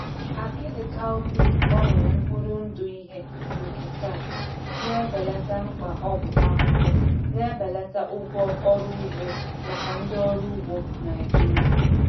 Akidi cowpea gbanwere mkpụrụ ndụ ihe nketa na-ebelata mkpa ọgwụ ahụhụ, na-ebelata ụgwọ ọrụ ugbo maka ndị ọrụ ugbo Naijiria.